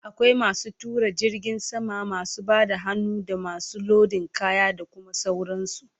Akwai masu tuƙa jirgin sama, masu Bada hannu, damasu lodin kaya, da Kuma sauran su